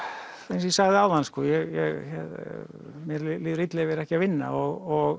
eins og ég sagði áðan mér líður illa ef ég er ekki að vinna og